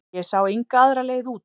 Ég sá enga aðra leið út.